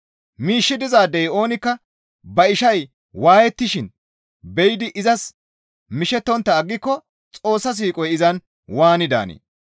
Miishshi dizaadey oonikka ba ishay waayettishin be7idi izas mishettontta aggiko Xoossa siiqoy izan waani daanee?